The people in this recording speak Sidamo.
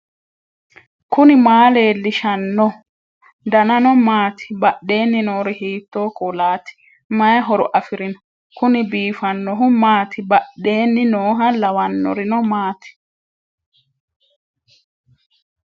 knuni maa leellishanno ? danano maati ? badheenni noori hiitto kuulaati ? mayi horo afirino ? kuni biifannohu maati badheenni nooha lawannorino maati